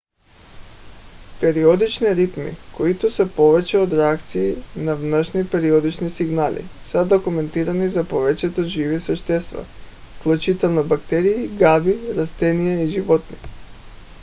периодични ритми които са повече от реакции на външни периодични сигнали са документирани за повечето живи същества включително бактерии гъби растения и животни